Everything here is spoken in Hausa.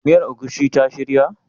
Miyar egusi ta shirya?